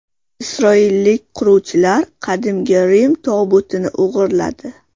Isroillik quruvchilar Qadimgi Rim tobutini o‘g‘irladi.